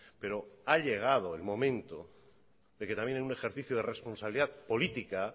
pero ha llegado el momento de que también en un ejercicio de responsabilidad política